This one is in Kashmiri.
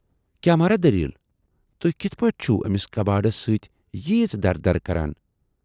کیاہ مہراہ دٔلیٖل! تُہۍ کتَھ پٮ۪ٹھ چھِوٕ ٲمِس کبٲڑِس سۭتۍ ییٖژ درٕ درٕ کَران؟